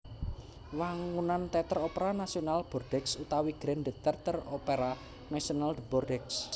Wangunan Téater Opera Nasional Bordeaux utawi Grand Theatre Opera National de Bordeaux